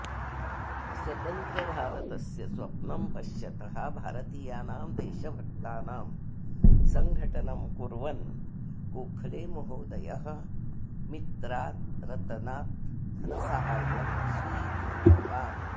स्वतन्त्रभारतस्य स्वप्नं पश्यतः भारतीयानां देशभक्तानां सङ्घटनं कुर्वन् गोखलेमहोदयः मित्रात् रतनात् धनसाहाय्यं स्वीकृतवान्